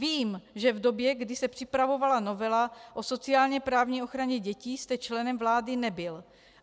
Vím, že v době, kdy se připravovala novela o sociálně-právní ochraně dětí, jste členem vlády nebyl.